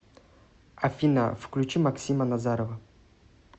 афина включи максима назарова